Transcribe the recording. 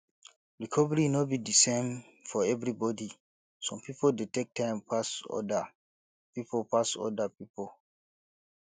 recovery no be di same for everybody some pipo dey take time pas oda pipo pas oda pipo